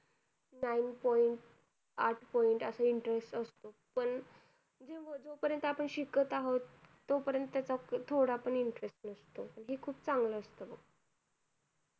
nine point आठ point अस interest असतो पण जोपर्यंत आपण शिकत आहोत तोपर्यंत तर थोडा पण interest नसतो हे खूप चांगलं असत बघ